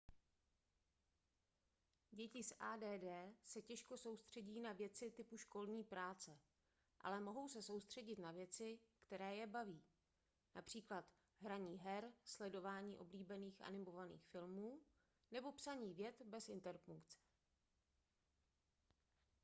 děti s add se těžko soustředí na věci typu školní práce ale mohou se soustředit na věci které je baví například hraní her sledování oblíbených animovaných filmů nebo psaní vět bez interpunkce